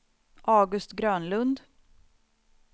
August Grönlund